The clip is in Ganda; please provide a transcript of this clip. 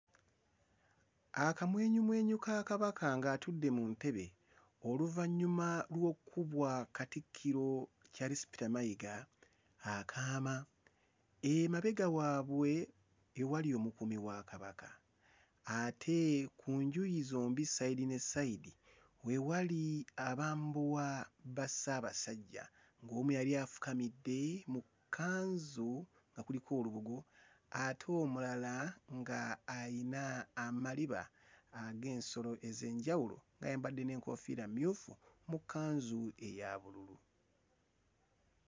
Akamwenyumwenyu ka Kabaka ng'atudde mu ntebe oluvannyuma lw'okkubwa Katikkiro Charles Peter Mayiga akaama. Emabega waabwe ewali omukuumi wa Kabaka ate ku njuyi zombi ssayidi ne ssayidi we wali abambowa ba Ssaabasajja ng'omu yali afukamidde mu kkanzu nga kuliko olubugo ate omulala ng'ayina amaliba ag'ensolo ez'enjawulo ng'ayambadde n'enkoofiira mmyufu mu kkanzu eya bululu.